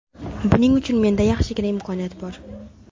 Buning uchun menda yaxshigina imkoniyat bor.